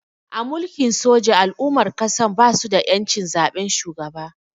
A Mulkin soja al'ummar ƙasan basu da ƴancin zaben shugaba